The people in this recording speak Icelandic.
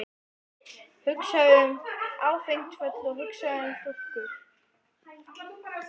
Hugsaðu um áfengt öl og hugsaðu um stúlkur!